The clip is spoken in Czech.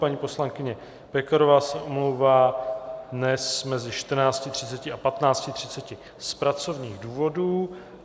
Paní poslankyně Pekarová se omlouvá dnes mezi 14.30 a 15.30 z pracovních důvodů.